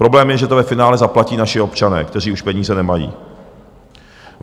Problém je, že to ve finále zaplatí naši občané, kteří už peníze nemají.